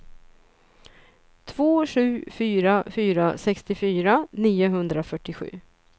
två sju fyra fyra sextiofyra niohundrafyrtiosju